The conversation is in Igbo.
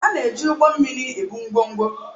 A na-eji ụgbọ mmiri ebu ngwongwo